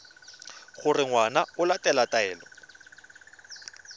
gore ngwana o latela taelo